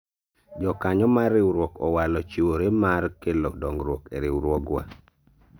jokanyo mar riwruok owalo chiwore mar kelo dongruok e riwruowga